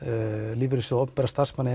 lífeyrissjóð opinberra starfsmanna